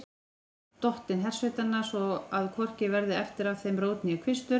Dottinn hersveitanna, svo að hvorki verði eftir af þeim rót né kvistur.